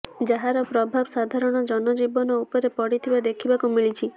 ଯାହାର ପ୍ରଭାବ ସାଧାରଣ ଜନଜୀବନ ଉପରେ ପଡିଥିବା ଦେଖିବାକୁ ମିଳିଛି